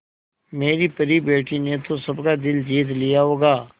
मेरी परी बेटी ने तो सबका दिल जीत लिया होगा